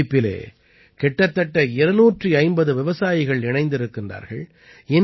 இந்த அமைப்பிலே கிட்டத்தட்ட 250 விவசாயிகள் இணைந்திருக்கிறார்கள்